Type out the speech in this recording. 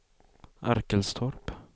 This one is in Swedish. Arkelstorp